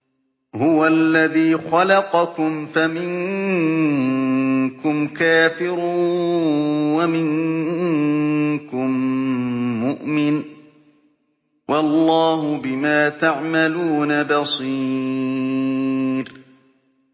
هُوَ الَّذِي خَلَقَكُمْ فَمِنكُمْ كَافِرٌ وَمِنكُم مُّؤْمِنٌ ۚ وَاللَّهُ بِمَا تَعْمَلُونَ بَصِيرٌ